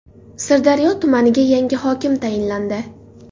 Sirdaryo tumaniga yangi hokim tayinlandi.